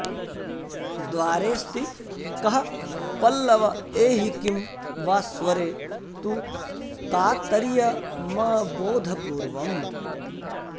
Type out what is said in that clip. द्वारेऽस्ति कः पल्लव एहि किं वा स्वरे तु कातर्यमबोधपूर्वम्